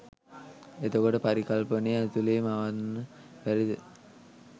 එතකොට පරිකල්පනය ඇතුළෙ මවන්න බැරිද